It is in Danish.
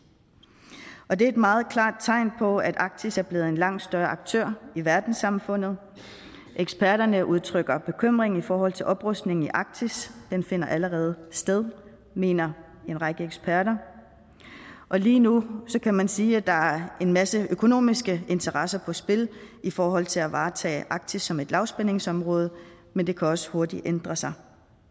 og det er et meget klart tegn på at arktis er blevet en langt større aktør i verdenssamfundet eksperterne udtrykker bekymring i forhold til oprustning i arktis den finder allerede sted mener en række eksperter og lige nu kan man sige at der er en masse økonomiske interesser på spil i forhold til at varetage arktis som et lavspændingsområde men det kan også hurtigt ændre sig